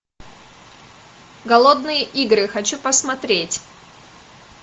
голодные игры хочу посмотреть